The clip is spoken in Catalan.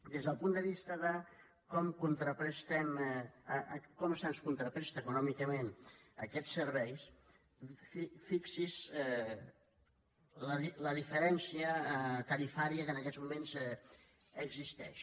des del punt de vista de com se’ns contrapresta econòmicament aquests serveis fixi’s la diferència tarifària que en aquests moments existeix